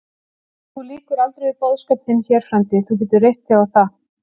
Þú lýkur aldrei við boðskap þinn hér, frændi, þú getur reitt þig á það.